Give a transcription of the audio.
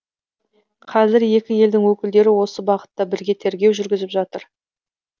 қазір екі елдің өкілдері осы бағытта бірге тергеу жүргізіп жатыр